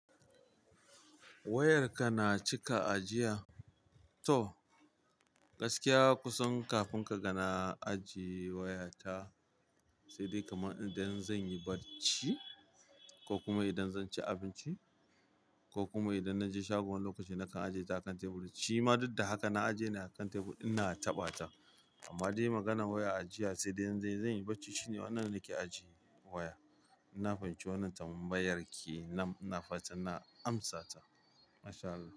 Wayarka na cika ajiya. To gaskiya kusan kafin kaga na ajiye wayata sai kamar idan zan yi bacci ko kuma idan zan ci abinci koh kuma idan naje shago wani lokaci nakan ajiye ta akan teburin. Shima duk da haka na aje ne a kan tebur ina taɓa ta. Amma dai maganan waya ajiya sai dai in zan yi barci shine wannan nake ajiye waya. In na fahimci wannan tambayar kenan. Nam ina fatan, na amsata. Masha Allah.